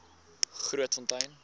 grootfontein